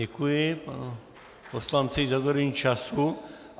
Děkuji panu poslanci za dodržení času.